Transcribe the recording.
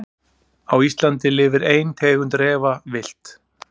Á Íslandi lifir ein tegund refa villt.